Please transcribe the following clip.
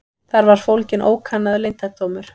Þar var fólginn ókannaður leyndardómur.